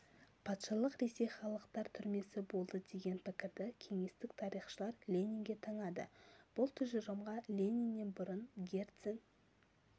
патшалық ресей халықтар түрмесі болды деген пікірді кеңестік тарихшылар ленинге таңады бұл тұжырымға лениннен бұрын герцен